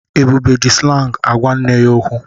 Ebube ji slangị ágwá nne ya okwu.